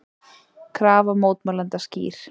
Krafa mótmælenda skýr